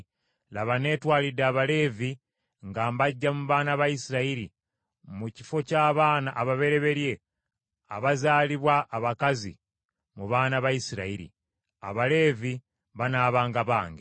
“Laba, neetwalidde Abaleevi nga mbaggya mu baana ba Isirayiri mu kifo ky’abaana ababereberye abazaalibwa abakazi mu baana ba Isirayiri. Abaleevi banaabanga bange,